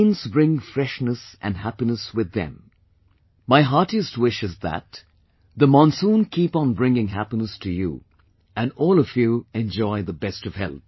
Rains bring freshness and happiness with them, my heartiest wish is that the monsoon keep on bringing happiness to you and you all enjoy best of health